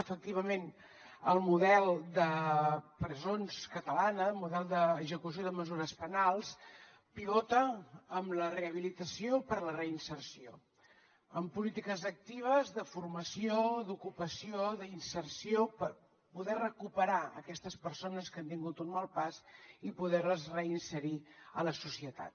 efectivament el model de presons català el model d’execució de mesures penals pivota en la rehabilitació per a la reinserció amb polítiques actives de formació d’ocupació d’inserció per poder recuperar aquestes persones que han tingut un mal pas i poder les reinserir a la societat